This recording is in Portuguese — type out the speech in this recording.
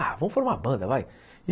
Ah, vamos formar uma banda, vai.